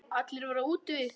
Allir voru úti við.